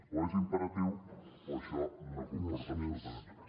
o és imperatiu o això no comporta absolutament res